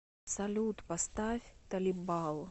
салют поставь талибал